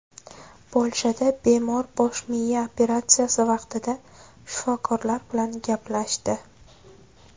Polshada bemor bosh miya operatsiyasi vaqtida shifokorlar bilan gaplashdi.